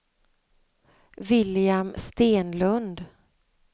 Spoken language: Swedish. William Stenlund